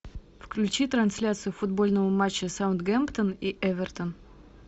включи трансляцию футбольного матча саутгемптон и эвертон